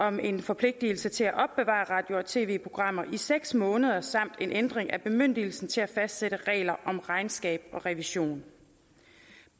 om en forpligtelse til at opbevare radio og tv programmer i seks måneder samt en ændring af bemyndigelsen til at fastsætte regler om regnskab og revision